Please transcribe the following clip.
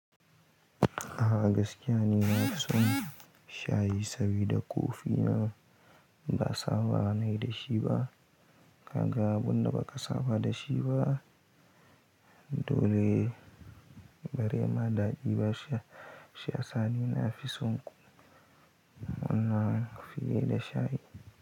A gaskiya ni na fi son shayi saboda ko fina ba saba na yi da shi ba. Kaga abin ɗa ba ka saba da shi ba, dole bare ma da ajiye shi. Sha sani na fi son wannan fiye da shayi.